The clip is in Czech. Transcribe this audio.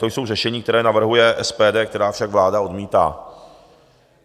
To jsou řešení, která navrhuje SPD, která však vláda odmítá.